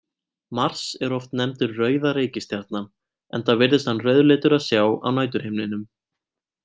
Mars er oft nefndur rauða reikistjarnan enda virðist hann rauðleitur að sjá á næturhimninum.